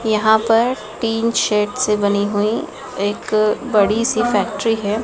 यहां पर tin shed से बनी हुई एक बड़ी सी फैक्ट्री है।